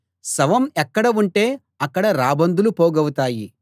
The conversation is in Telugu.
శవం ఎక్కడ ఉంటే అక్కడ రాబందులు పోగవుతాయి